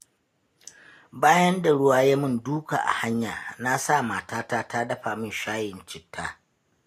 Bayan da ruwa ya yi min duka a hanya, na sa matata ta dafa min shayin citta.